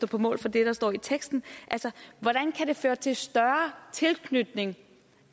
på mål for det der står i teksten altså hvordan kan det føre til større tilknytning